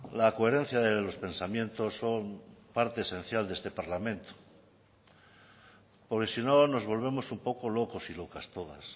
la coherencia de los pensamientos son parte esencial de este parlamento porque si no nos volvemos un poco locos y locas todas